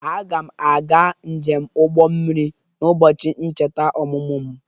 Aga m aga njem ụgbọ mmiri n'ụbọchị nvheta ọmụmụ m.